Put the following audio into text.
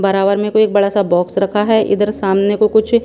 बराबर में कोई एक बड़ा सा बॉक्स रखा है इधर सामने को कुछ --